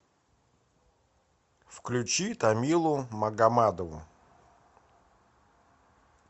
включи тамилу магомадову